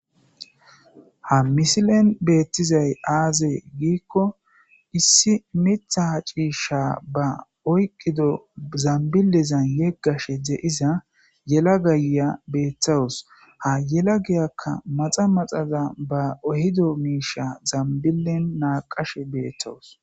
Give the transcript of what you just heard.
Ha misilen betizays aaze giikon issi Mitha ciisha ba oykidi zambilezan yegashe de'iza yelagaya beetawusi , ha yelagiyaka maxa maxa ba ehido misha zambilen naaqashe beetawusi.